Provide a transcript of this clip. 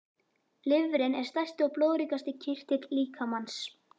Lifrin er stærsti og blóðríkasti kirtill líkamans.